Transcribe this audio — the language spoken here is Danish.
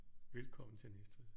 Velkommen til Næstved